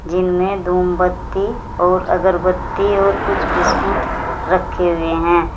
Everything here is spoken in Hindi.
जिनमें धूमबत्ती और अगरबत्ती और कुछ बिस्कुट रखे हुए हैं।